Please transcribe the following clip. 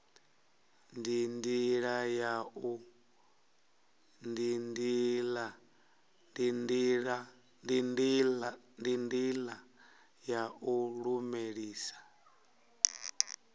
ndi ndila ya u lulamisa